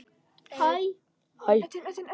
Aðeins þetta eina